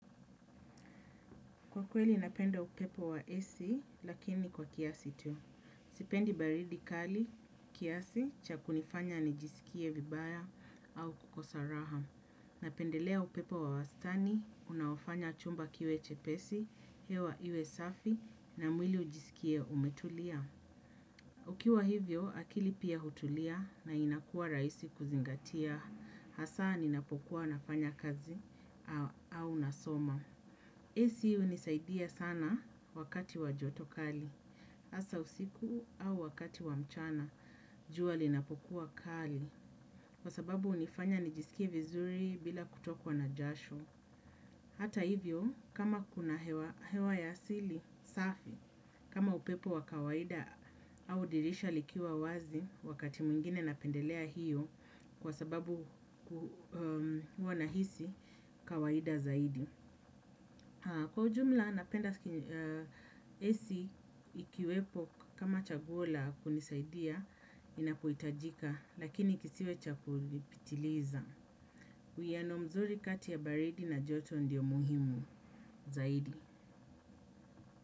Kwa kweli napenda upepo wa AC lakini kwa kiasi tu. Sipendi baridi kali kiasi cha kunifanya nijisikie vibaya au kukosa raha. Napendelea upepo wa wastani, unaofanya chumba kiwe chepesi, hewa iwe safi na mwili ujisikie umetulia. Ukiwa hivyo akili pia hutulia na inakua rahisi kuzingatia. Hasa ninapokuwa nafanya kazi au nasoma. AC hunisaidia sana wakati wa joto kali, hasa usiku au wakati wamchana, jua linapokuwa kali. Kwa sababu hunifanya nijisikie vizuri bila kutokwa na jasho. Hata hivyo, kama kuna hewa ya asili, safi kama upepo wa kawaida au dirisha likiwa wazi wakati mwingine napendelea hiyo kwa sababu huwa nahisi kawaida zaidi. Kwa ujumla napenda AC ikiwepo kama chaguo la kunisaidia inapihitajika lakini kisiwe cha kulipitiliza. Uwiano mzuri kati ya baridi na joto ndio muhimu zaidi.